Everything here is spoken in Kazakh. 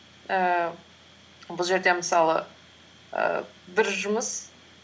ііі бұл жерде мысалы ііі бір жұмыс